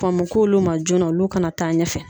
Kɔn mo k'olu ma joona olu kana taa ɲɛfɛ.